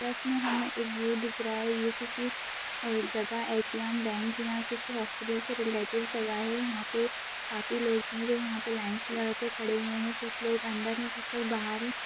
Pictures में हमे एक व्यू दिख रहा है ये किसी अ जगह ए.टी.एम. बैंक या किसी हॉस्पिटल से रिलेटेड जगह है यहाँ पे काफी लोग भी है जो यहाँ पे लाइन्स लगा के खड़े हुए है कुछ लोग अंदर है कुछ लोग बाहर है।